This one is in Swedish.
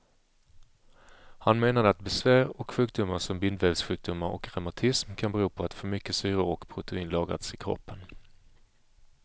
Han menade att besvär och sjukdomar som bindvävssjukdomar och reumatism kan bero på att för mycket syror och protein lagrats i kroppen.